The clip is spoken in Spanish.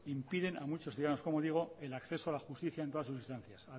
impiden a muchos ciudadanos como digoc el acceso a la justicia en todas sus instancias